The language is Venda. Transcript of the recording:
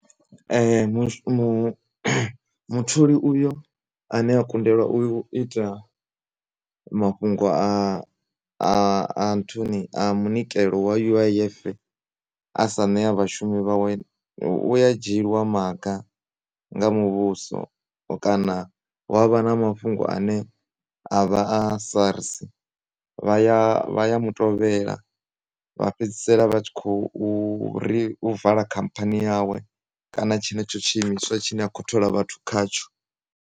Mu mutholi uyo ane a kundelwa u ita mafhungo a, anthuni a munikelo wa U_I_F asaneya vhashumi vhawe, uya dzhiyeliwa maga nga muvhuso kana hu avha na mafhungo ane avha a SARS vhaya, vhaya mutovhela vha fhedzisela vha tshi khouri u vala khampani yawe kana tshenetsho tshiimiswa tshine akho thola vhathu khatsho.